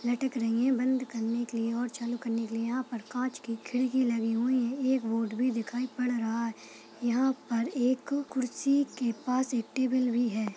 --लटक रही है बंद करने के लिए और चालू करने के लिए यहाँ पर कांच की खिड़की लगी हुई है एक बोर्ड भी दिखाई पड़ रहा है यहाँ पर एक कुर्सी के पास एक टेबल भी है।